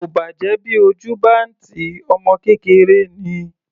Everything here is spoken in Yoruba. Kò bàjẹ́ bí ojú bá ń tì í, ọmọ kékeré ni.